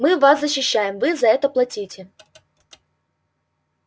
мы вас защищаем вы за это платите